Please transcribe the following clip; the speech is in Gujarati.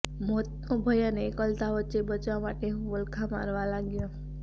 મોતનો ભય અને એકલતા વચ્ચે બચવા માટે હું વલખાં મારવા લાગ્યો